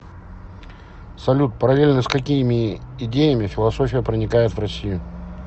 салют параллельно с какими идеями философия проникает в россию